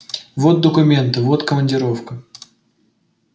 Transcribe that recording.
вот документы вот командировка